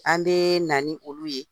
An bɛ na ni olu ye,